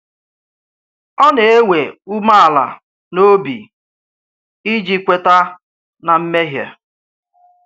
Ọ́ na-ẹ̀wè ùméàlà n’òbì iji kwèta na mmèhíè.